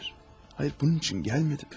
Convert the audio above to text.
Xeyr, xeyr, bunun üçün gəlmədim.